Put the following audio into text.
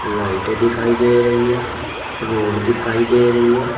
Light दिखाई दे रही हैं रोड दिखाई दे रही है।